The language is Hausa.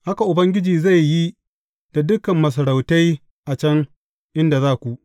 Haka Ubangiji zai yi da dukan masarautai a can, inda za ku.